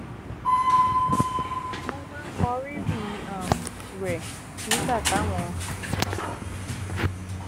mo máa ń mọ rírì um rè nígbà táwọn